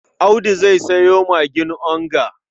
Audu zai sayo magin onga.